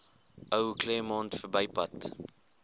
ou claremont verbypad